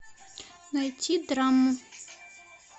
найти драму